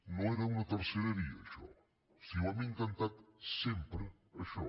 no era una tercera via això si ho hem intentat sempre això